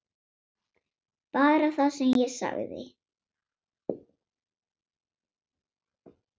Bara það sem ég sagði.